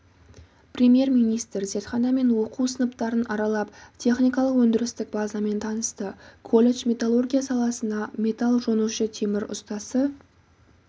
премьер-министр зертхана мен оқу сыныптарын аралап техникалық-өндірістік базамен танысты колледж металлургия саласына металл жонушы темір ұстасы